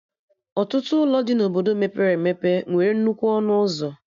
Ọtụtụ ụlọ dị na Obodo mepere emepe nwere nnukwu ọnụ ụzọ